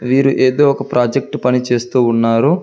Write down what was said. వీరు ఏదో ఒక ప్రాజెక్టు పని చేస్తూ ఉన్నారు.